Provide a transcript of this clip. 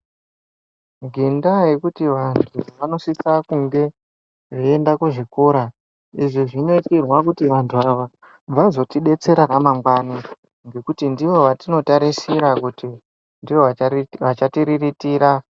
Ngendaa yekuti vantu vanosisa kunge veiende kuzvikora izvi zvinoitirwa kuti vantu ava vazotidetsera ramangwana ngekuti ndivo vetinotarisira kuti ndivo achatiriritira.